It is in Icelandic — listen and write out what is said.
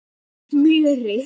Með smjöri.